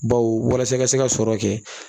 Baw walasa ka se ka sɔrɔ kɛ